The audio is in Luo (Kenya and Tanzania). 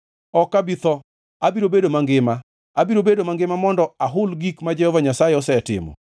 Ok abi tho, abiro bedo mangima; abiro bedo mangima modo ahul gik ma Jehova Nyasaye osetimo.